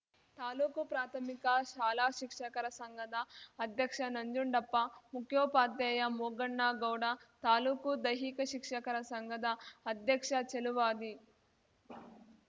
ತಾಲೂಕುಪ್ರಾಥಮಿಕ ಶಾಲಾ ಶಿಕ್ಷಕರ ಸಂಘದ ಅಧ್ಯಕ್ಷ ನಂಜುಂಡಪ್ಪ ಮುಖ್ಯೋಪಾಧ್ಯಾಯ ಮೋಗಣ್ಣಗೌಡ ತಾಲೂಕುದೈಹಿಕ ಶಿಕ್ಷಕರ ಸಂಘದ ಅಧ್ಯಕ್ಷ ಚೆಲುವಾದಿ